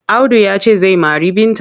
Audu ya ce zai mari Binta.